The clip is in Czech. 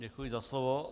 Děkuji za slovo.